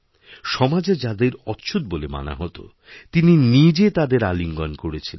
সমাজে যাদের অচ্ছুৎ বলে মানা হত তিনি নিজেতাদের আলিঙ্গণ করেছিলেন